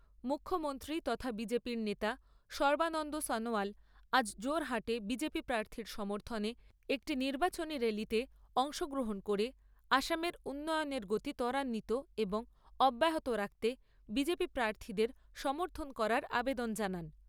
মুখ্যমন্ত্রী তথা B J P নেতা সর্বানন্দ সনোয়াল আজ যোরহাটে বি জে পি প্রার্থীর সমর্থনে একটি নির্বাচনী র্যালিতে অংশগ্রহণ করে আসামের উন্নয়নের গতি তরান্বিত এবং অব্যাহত রাখতে বি জে পি প্রার্থীদের সমর্থন করার আবেদন জানান।